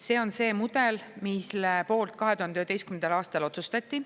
See on see mudel, mille poolt 2011. aastal otsustati.